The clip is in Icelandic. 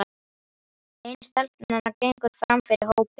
Ein stelpnanna gengur fram fyrir hópinn.